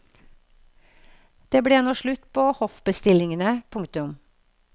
Det ble nå slutt på hoffbestillingene. punktum